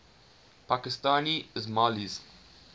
pakistani ismailis